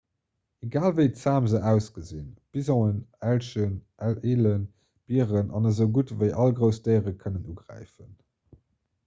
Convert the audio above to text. egal wéi zam se ausgesinn bisonen elchen elen bieren an esougutt ewéi all grouss déiere kënnen ugräifen